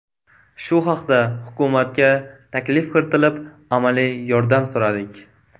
Shu haqda hukumatga taklif kiritilib, amaliy yordam so‘radik.